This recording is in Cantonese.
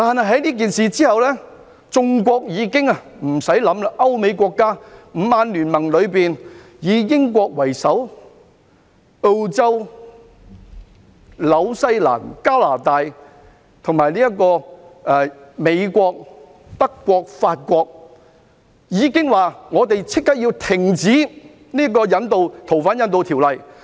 可是，這事以後，眾國......不需多想，各歐美國家，五眼聯盟——以英國為首，澳洲、新西蘭、加拿大和美國——以及德國和法國均表示他們要立即停止執行引渡逃犯的條例。